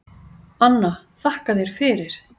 Anna: Þakka þér fyrir.